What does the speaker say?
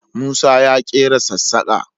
Musa ya ƙera sassaƙa